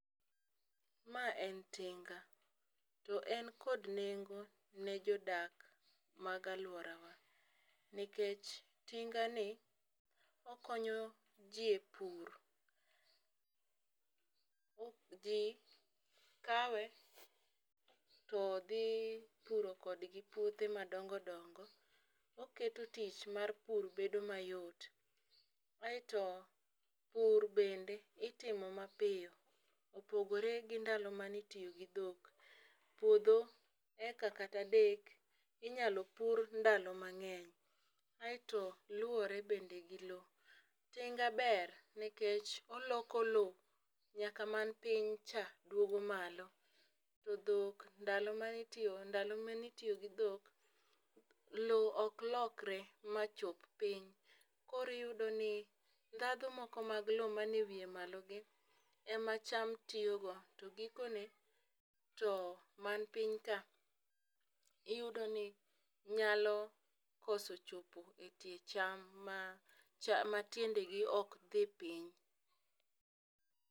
Ma en tinga. To en kod nengo ne jodak mag alworawa. Nikech tingani, okonyo ji e pur. Ji kawe, to dhi puro kodgi puothe madongo dongo. Oketo tich mar pur bedo mayot. Aeto pur bende itimo ma piyo, opogore gi ndalo mane itiyo gi dhok. Puodho heka kata adek, inyalo pur ndalo mangény. Aeto luwore bende gi lowo. Tinga ber, nikech oloko lowo, nyaka mani piny cha, duogo malo. To dhok ndalo mane, ndalo mane itiyo gi dhok, lowo ok lore ma chop piny, koro iyudo ni ndhadhu moko mag lowo mani e wiye malo gi, ema cham tiyo go. To gikone, to mani piny ka, iyudoni, nyalo koso chopo e tie cham ma, ma tiende gi ok dhi piny.